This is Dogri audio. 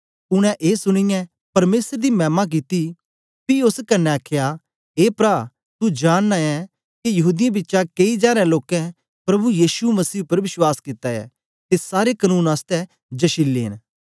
उनै ए सुनीयै परमेसर दी मैमा कित्ती पी ओस कन्ने आखया ए प्रा तू जानना ऐ के यहूदीयें बिचा केई जारें लोकें प्रभु यीशु उपर विश्वास कित्ता ऐ ते सारे कनून आसतै जशिले न